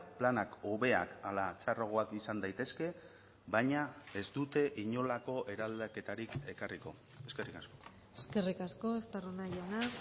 planak hobeak hala txarragoak izan daitezke baina ez dute inolako eraldaketarik ekarriko eskerrik asko eskerrik asko estarrona jauna